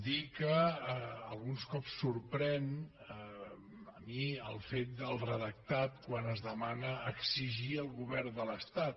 dir que alguns cops sorprèn a mi el fet del redactat quan es demana exigir al govern de l’estat